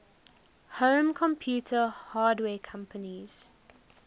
home computer hardware companies